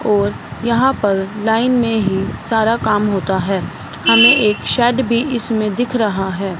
और यहां पर लाइन में ही सारा काम होता है हमें एक शेड भी इसमें दिख रहा है।